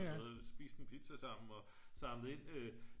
spist en pizza sammen og samlet ind